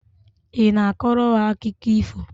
Ị na-akọrọ ha akụkọ ifo?